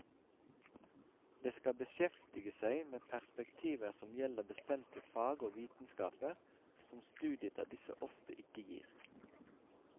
Det skal beskjeftige seg med perspektiver som gjelder bestemte fag og vitenskaper, som studiet av disse ofte ikke gir.